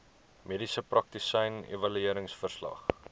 mediese praktisyn evalueringsverslag